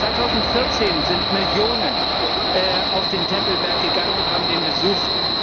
2014 sind Millionen auf den Tempelberg gegangen und haben den besucht.